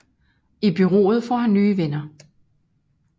I bureauet får han nye venner